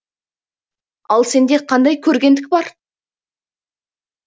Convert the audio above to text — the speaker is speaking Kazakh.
ал сенде қандай көргендік бар